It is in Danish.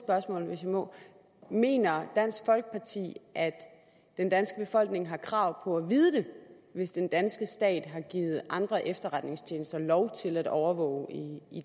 hvis jeg må mener dansk folkeparti at den danske befolkning har krav på at vide det hvis den danske stat har givet andre efterretningstjenester lov til at overvåge i